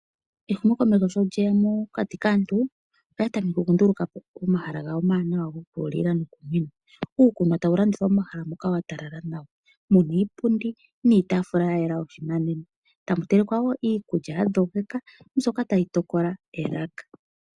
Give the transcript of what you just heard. Ehumokomeho sho lyeya mokati kaantu. Oya tameke oku nduluka po omahala gawo omawanawa gokulila noku nwina. Uukunwa tawu landithwa momahala muka wa talala nawa. Muna iipundi niitafula yayela yoshinanena. Tamu telekwa wo iikulya ya dhogekeka mbyoka tayi tokola elaka.